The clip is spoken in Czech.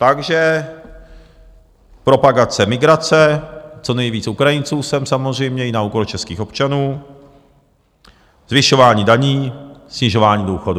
Takže propagace migrace, co nejvíc Ukrajinců sem samozřejmě i na úkor českých občanů, zvyšování daní, snižování důchodů.